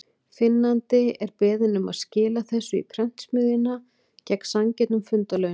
Finnandi er beðinn um að skila þessu í prentsmiðjuna, gegn sanngjörnum fundarlaunum.